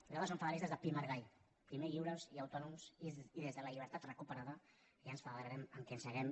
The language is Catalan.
nosaltres som federalistes de pi i margall primer lliures i autònoms i des de la llibertat recuperada ja ens federarem amb qui hàgim